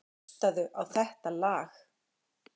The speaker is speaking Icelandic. Hlustaðu á þetta lag.